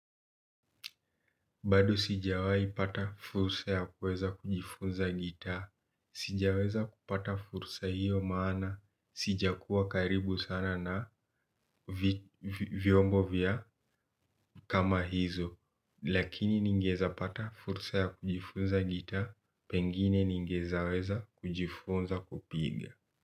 Bado sijawai pata fursa ya kuweza kujifunza gita, sijaweza kupata fursa hiyo maana, sija kuwa karibu sana na vyombo vya kama hizo, lakini ningeeza pata fursa ya kujifunza gita, pengine ningeeza weza kujifunza kupiga.